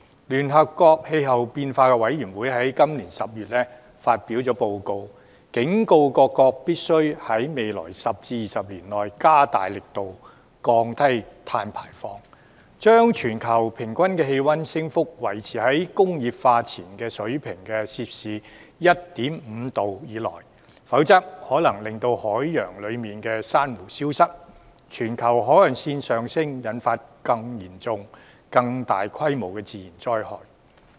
聯合國政府間氣候變化專門委員會在今年10月發表報告，警告各國必須在未來10至20年內，加大力度降低碳排放量，將全球平均氣溫升幅，維持在工業化前水平的 1.5°C 以內，否則，海洋裏的珊瑚可能消失、全球海岸線上升，引發更嚴重、更大規模的自然災害。